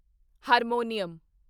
harmonium